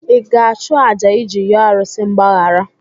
Ị ga-achụ àjà iji yọọ arụsị mgbaghara?